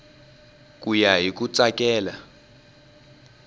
ku ya hi ku tsakela